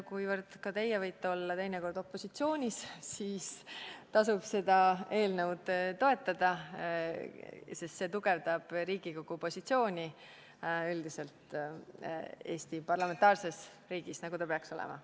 Kuivõrd ka teie võite olla teinekord opositsioonis, siis tasub seda eelnõu toetada, sest see tugevdab Riigikogu positsiooni üldiselt Eestis kui parlamentaarses riigis, nagu ta peaks olema.